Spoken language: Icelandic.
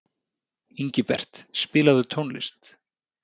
Ingibert, spilaðu tónlist.